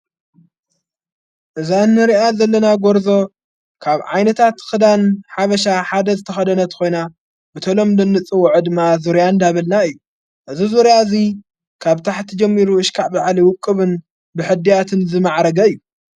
እዛ ንርኣ ዘለና ጐርዞ ካብ ዓይነታት ኽዳን ሓበሻ ሓደ ዝተኸደነት ኾይና ብተሎምዶ ንጽዎዕ ድማ ዙርያ ዳብልና እዩ እዝ ዙርያ እዙይ ካብ ታሕቲ ጀሚሩ እሽካዕ ብዓሊ ውቅብን ብሕድያትን ዝመዓረገ እዩ።